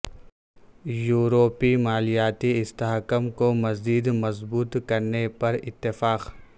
یوروپی مالیاتی استحکام کو مزید مضبوط کرنے پر اتفاق